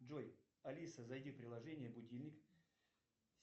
джой алиса зайди в приложение будильник